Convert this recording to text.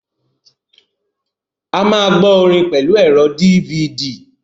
A máa gbọ́ orin pẹ̀lú ẹ̀rọ DVD.